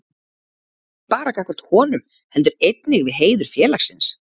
Ekki bara gagnvart honum, heldur einnig við heiður félagsins.